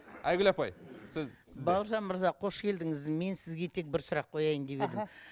айгүл апай сіз бауыржан мырза қош келдіңіз мен сізге тек бір сұрақ қояйын деп едім іхі